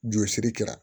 Jɔsiri kɛra